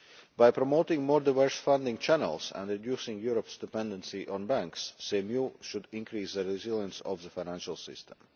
By promoting more diverse funding channels and reducing Europe's dependency on banks, CMU should increase the resilience of the financial system.